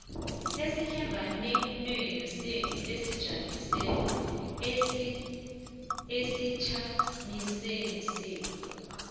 ehlanganwenenu esijamisweni senu